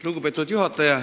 Lugupeetud juhataja!